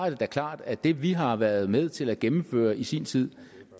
er klart at det vi har været med til at gennemføre i sin tid